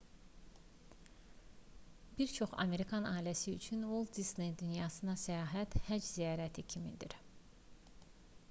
bir çox amerikan ailəsi üçün uolt disney dünyasına səyahət həcc ziyarəti kimidir